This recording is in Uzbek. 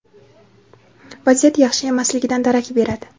vaziyat yaxshi emasligidan darak beradi.